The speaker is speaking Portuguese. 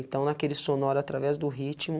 Então naquele sonoro, através do ritmo,